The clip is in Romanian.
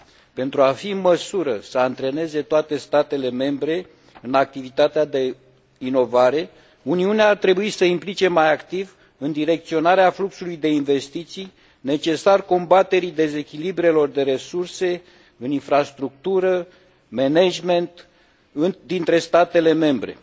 Pentru a fi în măsură să antreneze toate statele membre în activitatea de inovare, Uniunea ar trebui să se implice mai activ în direcționarea fluxului de investiții necesar combaterii dezechilibrelor de resurse în infrastructură, management dintre statele membre.